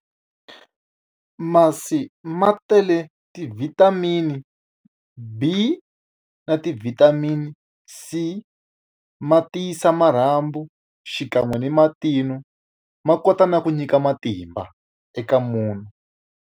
Masi ma tele ti-vitamin-i B na ti-vitamin-i C. Ma tiyisa marhambu xikan'we ni matino, Ma kota na ku nyika matimba eka munhu.